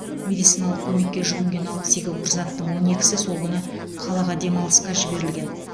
медициналық көмекке жүгінген алпыс екі курсанттың он екісі сол күні қалаға демалысқа жіберілген